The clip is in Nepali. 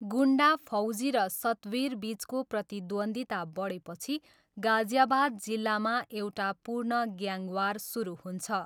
गुन्डा फौजी र सतवीरबिचको प्रतिद्वन्द्विता बढेपछि गाजियाबाद जिल्लामा एउटा पूर्ण ग्याङ वार सुरु हुन्छ।